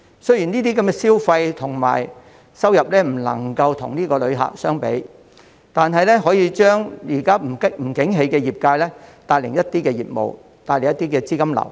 雖然這些消費和收入不能與旅客相比，但可以為現時不景氣的業界帶來一些業務和資金流。